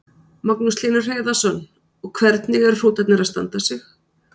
Magnús Hlynur Hreiðarsson: Og hvernig eru hrútarnir að standa sig?